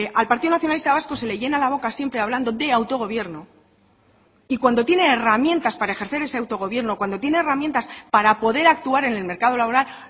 al partido nacionalista vasco se le llena la boca siempre hablando de autogobierno y cuando tiene herramientas para ejercer ese autogobierno cuando tiene herramientas para poder actuar en el mercado laboral